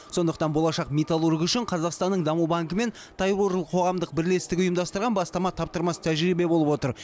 сондықтан болашақ металлург үшін қазақстанның даму банкі мен тайбурыл қоғамдық бірлестігі ұйымдастырған бастама таптырмас тәжірибе болып отыр